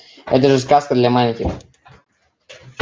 это же сказка для маленьких